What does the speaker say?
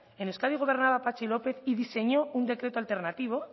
en euskadi gobernaba patxi lópez y diseñó un decreto alternativo